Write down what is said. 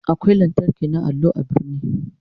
Akwai allo na lantarki a birni.